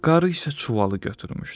Qarı isə çuvalı götürmüşdü.